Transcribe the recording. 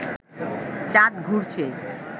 চাঁদ ঘুরছে